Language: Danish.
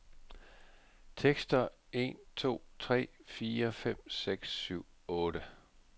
Tester en to tre fire fem seks syv otte.